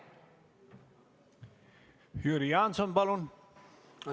Jüri Jaanson, palun!